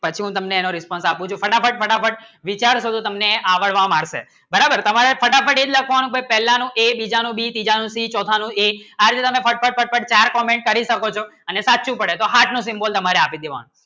પછી હું તમને Response આપું છું ફટાફટ ફટાફટ વિચાર કરશો તમને આવળવા મારશે બરાબર તમારે ફટાફટ એક લખવાનું પહેલાનું A બીજા નું B ત્રીજા નું C ચૌથા નું A આ રીતે તમે ફટફટ ફટફટ તમે ચાર Comment કરી શકો છું એને સાચું પડે તો Heart નું Symbol તમારું આપી દેવા